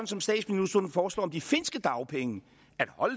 som statsministeren foreslår de finske dagpenge